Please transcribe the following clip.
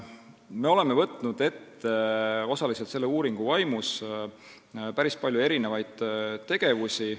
Me oleme võtnud osaliselt selle uuringu vaimus ette päris palju tegevusi.